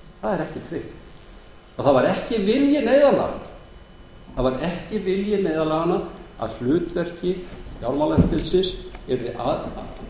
þessu tilviki það er ekkert slíkt og það var ekki vilji neyðarlaganna að hlutverki fjármálaeftirlitsins yrði